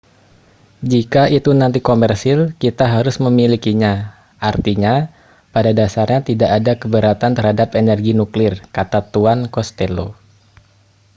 jika itu nanti komersil kita harus memilikinya artinya pada dasarnya tidak ada keberatan terhadap energi nuklir kata tuan costello